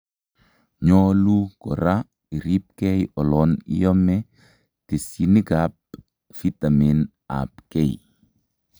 Nyolu koraa iribkee olan iomee tesyinik ab vitaminik ab k